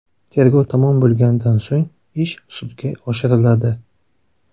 Tergov tamom bo‘lganidan so‘ng ish sudga oshiriladi.